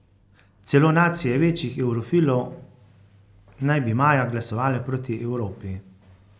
Celo nacije večnih evrofilov naj bi maja glasovale proti Evropi.